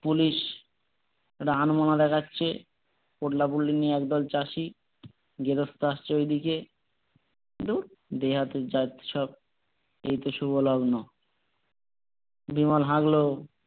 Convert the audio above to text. police একটু আনমনা দেখাচ্ছে পোটলা পুটলি নিয়ে একদল চাষী গেরোস্তে আসছে ঐদিকে ধুর দেহাতি জাত সব এই তো শুরু হলো আর না বিমল হাঁকলো,